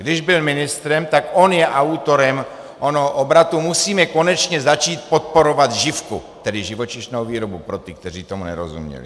Když byl ministrem, tak on je autorem onoho obratu "musíme konečně začít podporovat živku", tedy živočišnou výrobu pro ty, kteří tomu nerozuměli.